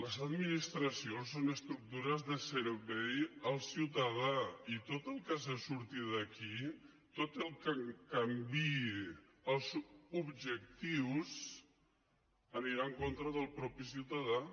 les administracions són estructures de servei al ciutadà i tot el que surti d’aquí tot el que canviï els objectius anirà en contra del mateix ciutadà